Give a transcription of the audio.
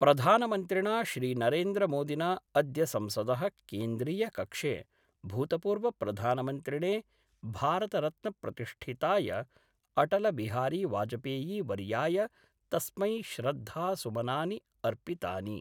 प्रधानमन्त्रिणा श्रीनरेन्द्रमोदिना अद्य संसद: केन्द्रीयकक्षे भूतपूर्वप्रधानमन्त्रिणे भारतरत्नप्रतिष्ठिताय अटलबिहारीवाजपेयीपवर्याय तस्मै श्रद्धासुमनानि अर्पितानि।